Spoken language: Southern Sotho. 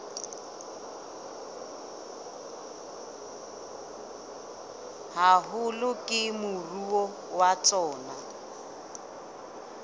haholo ke moruo wa tsona